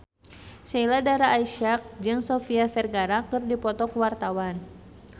Sheila Dara Aisha jeung Sofia Vergara keur dipoto ku wartawan